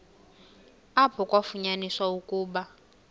apho kwafunyaniswa ukuba